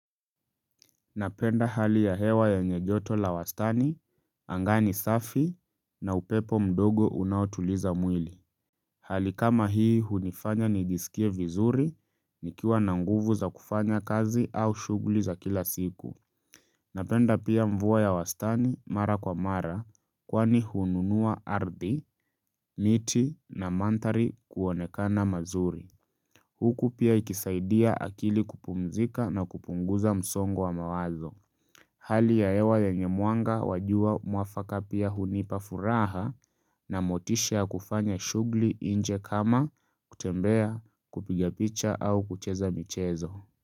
Napenda hali ya hewa yenye joto la wastani, anga ni safi, na upepo mdogo unaotuliza mwili. Hali kama hii hunifanya nijisikie vizuri, nikiwa na nguvu za kufanya kazi au shughuli za kila siku. Napenda pia mvua ya wastani mara kwa mara, kwani hununua ardhi, miti na mandhari kuonekana mazuri. Huku pia ikisaidia akili kupumzika na kupunguza msongo wa mawazo. Hali ya hewa yenye mwanga wa jua mwafaka pia hunipa furaha na motisha kufanya shughli inje kama kutembea kupiga picha au kucheza michezo.